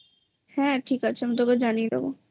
হ্যাঁ ঠিক আছে আমি তোকে জানিয়ে দেবো